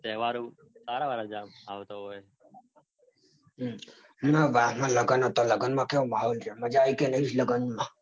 લગન હતા. લગનમાં કેવો માહોલ રહ્યો.